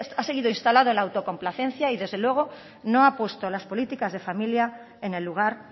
ha seguido instalado en la autocomplacencia y desde luego no ha puesto las políticas de familia en el lugar